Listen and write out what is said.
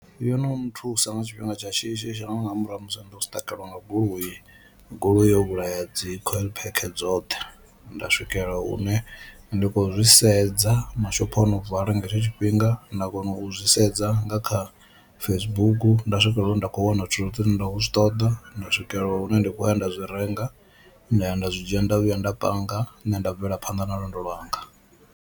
Yo no nthusa nga tshifhinga tsha shishi shangoni nga murahu ha musi ndo zwi siṱakeliwa nga goloi, goloi yo vhulaya dzi coil pack dzoṱhe nda swikelela hune ndi khou zwi sedza mashopho ano vala nga hetsho tshifhinga, nda kona u zwi sedza nga kha Facebook nda swikelela hune nda kho wana zwithu zwoṱhe zwine nda khou zwi ṱoḓa nda swikelela hune nda kho ya nda zwi renga nda ya nda zwi dzhia nda vhuya nda panga nṋe nda bvela phanḓa na lwendo lwanga.